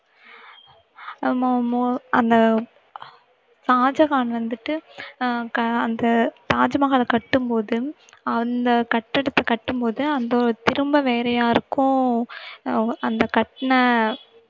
அஹ் மோ~ மோ~ அந்த ஷாஜகான் வந்துட்டு அஹ் க~ அந்த தாஜ்மஹாலை கட்டும்போது அந்த கட்டிடத்தை கட்டும்போது அந்த திரும்ப வேற யாருக்கும் அஹ் அவுங்~ அந்த கட்டுன